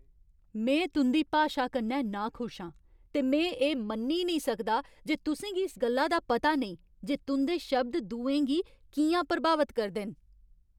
में तुं'दी भाशा कन्नै नाखुश आं ते में एह् मन्नी निं सकदा जे तुसें गी इस गल्ला दा पता नेईं जे तुं'दे शब्द दुएं गी कि'यां प्रभावत करदे न।